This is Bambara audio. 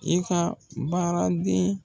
I ka baaraden.